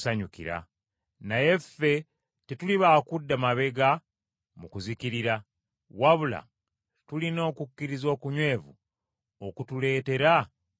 Naye ffe tetuli ba kudda mabega mu kuzikirira, wabula tulina okukkiriza okunywevu okutuleetera okulokoka.